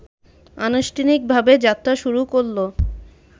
আনুষ্ঠানিকভাবে যাত্রা শুরু করলো